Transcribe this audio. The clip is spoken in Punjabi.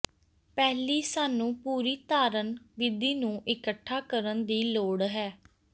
ਪਹਿਲੀ ਸਾਨੂੰ ਪੂਰੀ ਧਾਰਨ ਵਿਧੀ ਨੂੰ ਇਕੱਠਾ ਕਰਨ ਦੀ ਲੋੜ ਹੈ